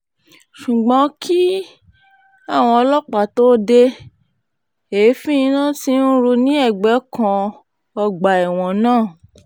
ṣùgbọ́n kí àwọn ọlọ́pàá tóó de èéfín iná tí ń rú ní ẹ̀gbẹ́ kan ọgbà ẹ̀wọ̀n náà